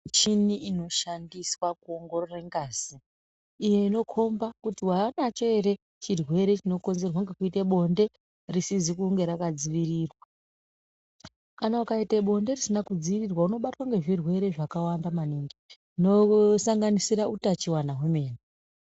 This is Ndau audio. Michini inoshandiswa kuongorore ngazi iyoinokomba kuti waanacho ere chirwere chinokonzerwe ngekuite bonde risizi kunge rakadziirirwa kana ukaita bonde risina kudziirirwa unobatwe ngezvirwere zvakawanda maningi zvinosanganisira utachiona hwemene.